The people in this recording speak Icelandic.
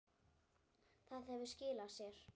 Það hefur skilað sér.